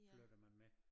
Flytter man med